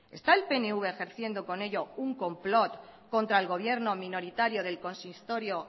está el pnv ejerciendo con ello un complot contra el gobierno minoritario del consistorio